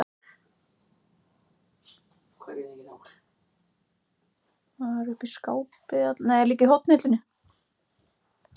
Og athugar skeytin sem hafa borist um nóttina?